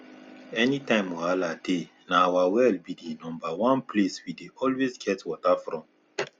anytime wahala dey na our well be di number one place we dey always get water from